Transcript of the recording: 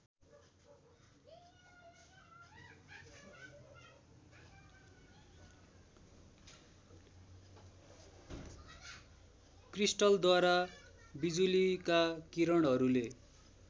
क्रिस्टलद्वारा बिजुलीका किरणहरूले